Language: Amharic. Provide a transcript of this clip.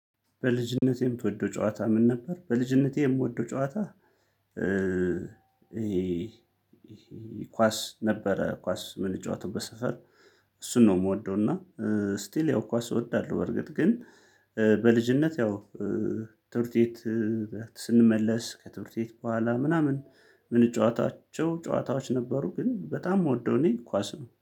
በልጅነቴ የምትወደው ጨዋታ ምን ነበር? በልጅነቴ የምወደው ጨዋታ ይሄ ኳስ ነበረ። ኳስ ምንጫወቱበት ሰፈር እሱን ነው የምወደው። እና ስቲል ያው ኳስ እወዳለሁ። በርግጥ ግን በልጅነት ያው ትምህርት ቤት ስንመለስ ከትምህርት ቤት በኋላ ምናምን ምንጨዋታቸው ጨዋታዎች ነበሩ። ግን በጣም የምወደው እኔ ኳስ ነው